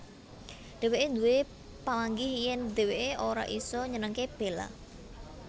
Dhéwéké duwé pamanggih yèn dhéwéké ora isa nyenengké Bella